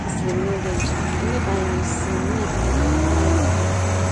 A kwụsịrị m n’oge njem ka m leba anya na osisi ma nwee ekele maka mgbanwe nke oge.